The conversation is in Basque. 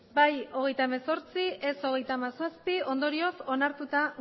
bai hogeita hemezortzi ez hogeita hamazazpi ondorioz onartuta